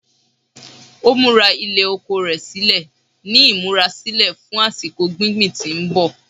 Ó múra ilẹ̀ oko rẹ̀ sílẹ̀ ní ìmúrasílẹ̀ fún àsìkò gbingbin tí ń bọ̀